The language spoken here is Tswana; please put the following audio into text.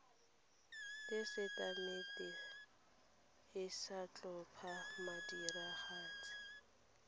tesetamente e sa tlhopha modiragatsi